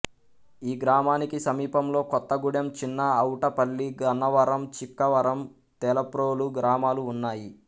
ఈ గ్రామానికి సమీపంలో కొత్తగూడెం చిన్న అవుటపల్లి గన్నవరం చిక్కవరం తేలప్రోలు గ్రామాలు ఉన్నాయి